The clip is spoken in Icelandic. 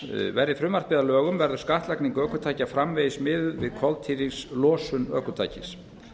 verði frumvarpið að lögum verður skattlagning ökutækja framvegis miðuð við koltvísýringslosun ökutækis